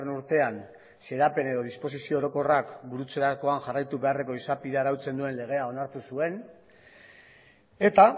urtean xedapen edo disposizio orokorrak burutzerakoan jarraitu beharreko izapidea arautzen duen legea onartu zuen eta